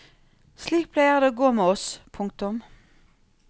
Slik pleier det å gå med oss. punktum